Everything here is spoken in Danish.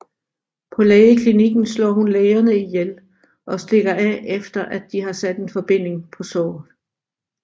På lægeklinikken slår hun lægerne ihjel og stikker af efter at de har sat en forbinding på såret